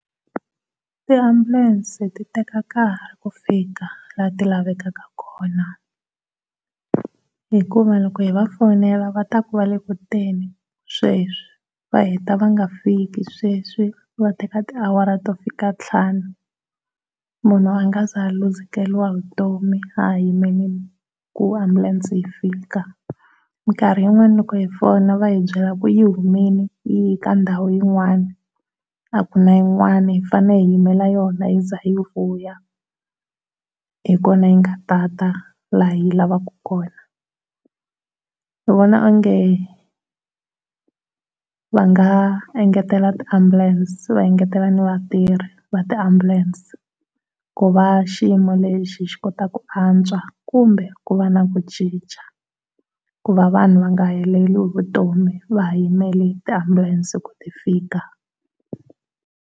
Tiambulense ti teka nkarhi ku fika laha ti lavekaka kona. Hikuva loko hi va fonela va ta ku va le ku teni sweswi va heta va nga fiki sweswi va teka tiawara to fika ntlhanu munhu a nga ze a luzekeriwa hi vutomi a ha yimele ku ambulense yi fika. Nkarhi wun'wana loko hi fona va hi byela ku yi humile yi ye ka ndhawu yin'wana, a ku na yin'wana hi fanele hi yimela yona yi ze yi vuya, hikona yi nga ta ta laha hi yi lavaka kona. Ni vona onge va nga engetela ti ambulense va engetela ni vatirhi va ti ambulense ku va xiyimo lexi xikota ku antswa kumbe ku va na ku cinca, ku va vanhu va nga heleli hi vutomi va ha yimele tiambulense ku ti fika.